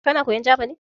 Kana koyan Jaba ne?